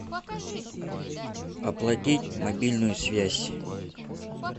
оплатить мобильную связь